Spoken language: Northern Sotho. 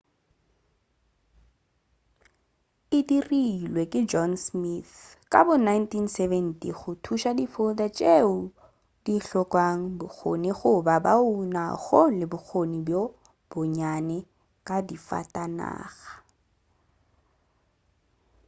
e dirilwe ke john smith ka bo 1970 go thuša di-folder tšeo di hlokago bokgoni goba bao ba nago le bokgoni bjo bonnyane ka difatanaga